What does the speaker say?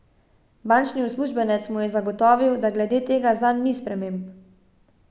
Bančni uslužbenec mu je zagotovil, da glede tega zanj ni sprememb.